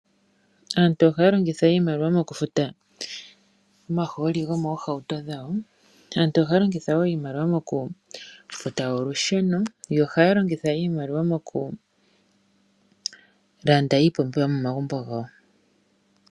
Aantu ohaya longitha iimaliwa mokufuta omahooli gomoohauto dhawo. Aantu ohaya longitha wo iimaliwa mokufuta olusheno, yo ohaya longitha iimaliwa mokulanda iipumbiwa yomomagumbo gawo.